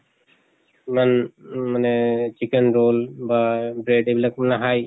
ইমান মা-নে এহ chicken roll বা bread এইবিলাক নাহাই